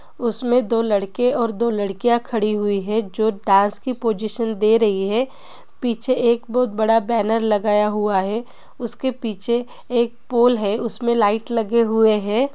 उसमे दो लड़के और दो लड़किया खड़ी हुई है जो डांस की पोजीशन दे रही है पीछे एक बोहोत बडा बैनर लगाया हुवा है| उसके पीछे एक पोल है उसमे लाइट लगे हुवे है ।